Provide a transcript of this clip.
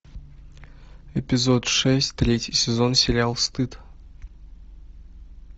эпизод шесть третий сезон сериал стыд